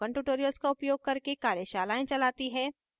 spoken tutorials का उपयोग करके कार्यशालाएं चलाती है